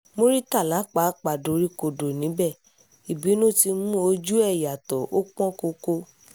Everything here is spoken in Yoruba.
muritàlá pàápàá doríkodò níbẹ̀ ìbínú ti mú ojú ẹ̀ yàtọ̀ ó pọ́n koko